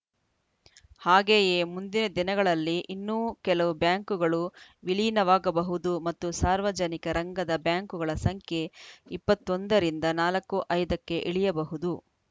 ಹಾಗೆಯೇ ಮುಂದಿನ ದಿನಗಳಲ್ಲಿ ಇನ್ನೂ ಕೆಲವು ಬ್ಯಾಂಕುಗಳು ವಿಲೀನವಾಗಬಹುದು ಮತ್ತು ಸಾರ್ವಜನಿಕ ರಂಗದ ಬ್ಯಾಂಕುಗಳ ಸಂಖ್ಯೆ ಇಪ್ಪತ್ತ್ ಒಂದ ರಿಂದ ನಾಲ್ಕು ಐದ ಕ್ಕೆ ಇಳಿಯಬಹುದು